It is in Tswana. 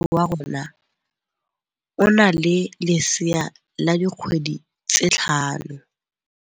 Moagisane wa rona o na le lesea la dikgwedi tse tlhano.